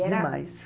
Demais.